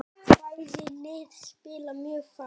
Bæði lið spila mjög fast.